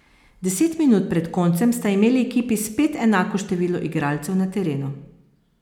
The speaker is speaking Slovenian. Deset minut pred koncem sta imeli ekipi spet enako število igralcev na terenu.